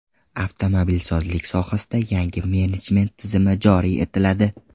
Avtomobilsozlik sohasida yangi menejment tizimi joriy etiladi.